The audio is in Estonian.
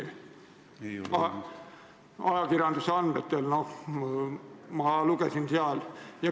See oli nii ajakirjanduse andmetel, ma lugesin selle kohta sealt.